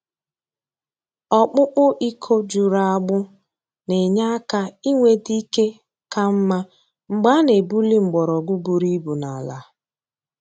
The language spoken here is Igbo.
Ọkpụkpụ iko juru agbụ na-enye aka inweta ike ka mma mgbe a na-ebuli mgbọrọgwụ buru ibu n’ala.